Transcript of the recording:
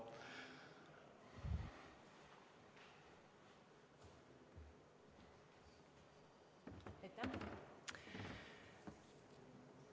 Aitäh!